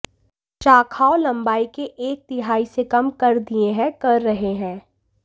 शाखाओं लंबाई के एक तिहाई से कम कर दिए हैं कर रहे हैं